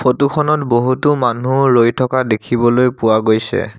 Photo খনত বহুতো মানুহ ৰৈ থকা দেখিবলৈ পোৱা গৈছে।